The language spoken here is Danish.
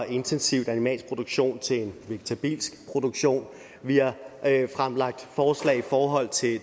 intensiv animalsk produktion til en vegetabilsk produktion vi har fremlagt forslag i forhold til